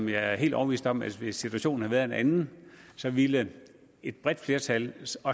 jeg er helt overbevist om at hvis situationen havde været en anden ville et bredt flertal